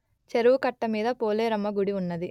చెరువు కట్ట మీద పోలేరమ్మ గుడి ఉన్నది